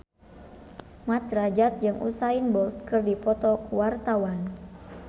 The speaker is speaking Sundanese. Mat Drajat jeung Usain Bolt keur dipoto ku wartawan